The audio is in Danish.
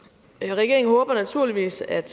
regeringen håber naturligvis at